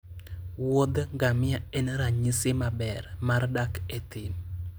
wuodh ngamia en ranyisi maber mar dak e thim